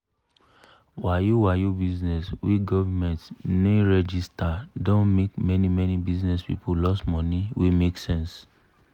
wayo-wayo bizness wey govment ne register don make many-many bizness people loss money wey make sense.